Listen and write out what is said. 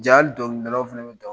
Jan hali dɔnkilidalaw fɛnɛ bi dɔn kɛ.